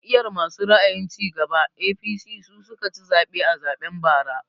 Jam'iyar masu ra'ayin cigaba (APC) su suka ci zaɓe a zaɓen bara